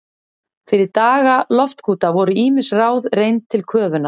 Fyrir daga loftkúta voru ýmis ráð reynd til köfunar.